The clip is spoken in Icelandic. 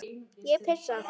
Ég pissa.